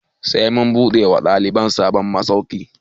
Za mu buɗe wa ɗalibai sabon masauki